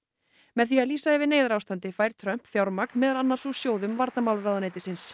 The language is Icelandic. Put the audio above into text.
með því að lýsa yfir neyðarástandi fær Trump fjármagn meðal annars úr sjóðum varnarmálaráðuneytisins